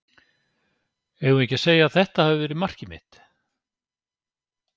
Eigum við ekki að segja að þetta hafi verið markið mitt?